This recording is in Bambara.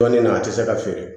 Dɔnnin na a tɛ se ka feere